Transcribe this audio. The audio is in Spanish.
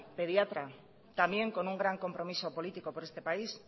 pediatra también con un gran compromiso político por este país